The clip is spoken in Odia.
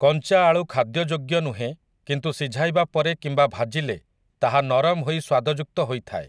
କଞ୍ଚା ଆଳୁ ଖାଦ୍ୟଯୋଗ୍ୟ ନୁହେଁ କିନ୍ତୁ ସିଝାଇବା ପରେ କିମ୍ବା ଭାଜିଲେ ତାହା ନରମ ହୋଇ ସ୍ୱାଦଯୁକ୍ତ ହୋଇଥାଏ ।